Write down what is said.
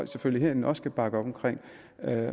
selvfølgelig også kan bakke op omkring